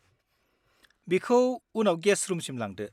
बिखौ उनाव गेस्ट रुमसिम लांदो।